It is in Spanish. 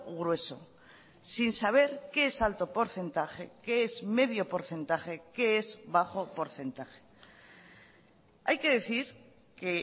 grueso sin saber qué es alto porcentaje qué es medio porcentaje qué es bajo porcentaje hay que decir que